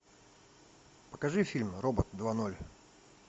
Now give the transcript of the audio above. покажи фильм робот два ноль